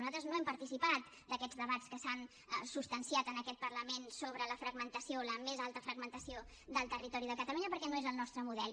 nosaltres no hem participat d’aquests debats que s’han substanciat en aquest parlament sobre la fragmentació la més alta fragmentació del territori de catalunya perquè no és el nostre model